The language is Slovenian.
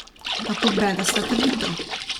Kako bedasta trditev!